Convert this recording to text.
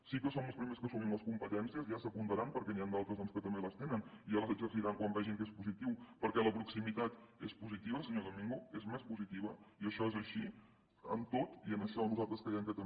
sí que som els primers que n’assumim les competències ja s’hi apuntaran perquè n’hi han d’altres doncs que també les tenen i ja les exerciran quan vegin que és positiu perquè la proximitat és positiva senyor domingo és més positiva i això és així en tot i en això nosaltres creiem que també